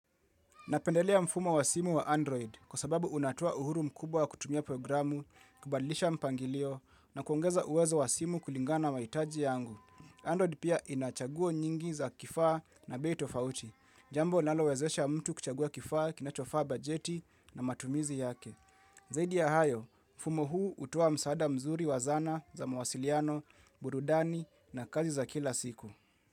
Napendelea mfumo wa simu wa Android kwa sababu unatoa uhuru mkubwa wa kutumia programu, kubadilisha mpangilio na kuongeza uwezo wa simu kulingana na mahitaji yangu. Android pia inachaguo nyingi za kifaa na bei tofauti, jambo linalo wezesha mtu kuchagua kifaa kinachofaa bajeti na matumizi yake. Zaidi ya hayo, mfumo huu hutoa msaada mzuri wa zana za mawasiliano, burudani na kazi za kila siku.